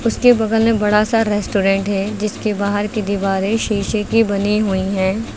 उसके बगल में बड़ा सा रेस्टोरेंट है जिसके बाहर की दीवारें शीशे की बनी हुई हैं।